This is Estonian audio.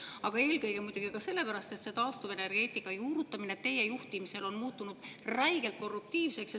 Aga eelkõige muidugi sellepärast, et see taastuvenergeetika juurutamine teie juhtimisel on muutunud räigelt korruptiivseks.